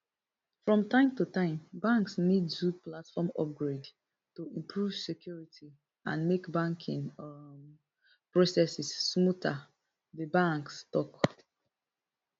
from time to time banks need do platform upgrade to improve security and make banking um processes smoother di banks tok